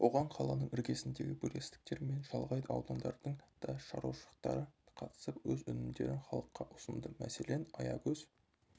оған қаланың іргесіндегі бірлестіктер мен шалғай аудандардың да шаруашылықтары қатысып өз өнімдерін халыққа ұсынды мәселен аягөз